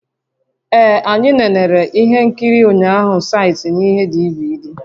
Ee anyị nenere ihe nkiri ụnyaahụ site na ihe DVD